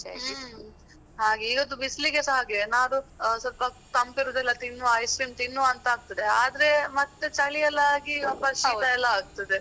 ಹ್ಮ್. ಹಾಗೆ, ಇವತ್ತು ಬಿಸ್ಲಿಗೆಸ ಹಾಗೆ ಏನಾದ್ರೂ ಸ್ವಲ್ಪ ತಂಪು ಏರುದೆಲ್ಲ ತಿನ್ನುವ ice cream ತಿನ್ನುವ ಅಂತ ಆಗ್ತದೆ, ಆದ್ರೆ ಮತ್ತೆ ಚಳಿ ಎಲ್ಲ ಆಗಿ ವಾಪಸ್ ಶೀತ ಎಲ್ಲ ಆಗ್ತದೆ.